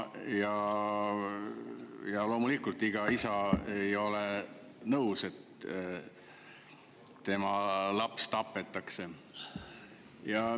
Ja loomulikult ei ole ükski isa nõus, et tema laps tapetakse.